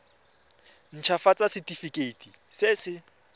nt hafatsa setefikeiti se se